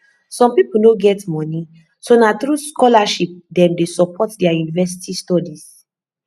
some people no get money so nah through scholarship dem dey support their university studies